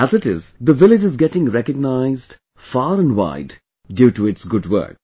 As it is the village is getting recognized far and wide due to its good work